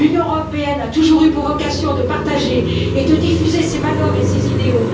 L'Union européenne a toujours eu pour vocation de partager et de diffuser ses valeurs et ses idéaux.